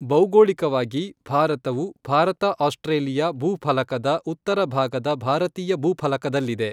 ಭೌಗೋಳಿಕವಾಗಿ, ಭಾರತವು, ಭಾರತ ಆಸ್ಟ್ರೇಲಿಯ ಭೂಫಲಕದ ಉತ್ತರ ಭಾಗದ ಭಾರತೀಯ ಭೂಫಲದಕಲ್ಲಿದೆ.